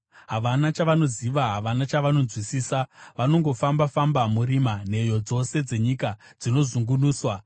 “Havana chavanoziva, havana chavanonzwisisa. Vanongofamba-famba murima; nheyo dzose dzenyika dzinozungunuswa.